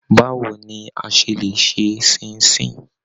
Báwo ni a ṣe lè ṣe Ṣín-in-ṣìn!